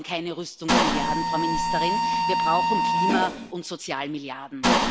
Wir brauchen keine Rüstungsmilliarden, Frau Ministerin, wir brauchen Klima und Sozialmilliarden.